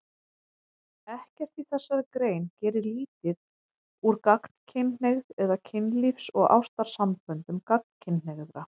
Ekkert í þessari grein gerir lítið úr gagnkynhneigð eða kynlífs- og ástarsamböndum gagnkynhneigðra.